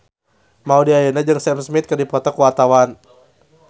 Maudy Ayunda jeung Sam Smith keur dipoto ku wartawan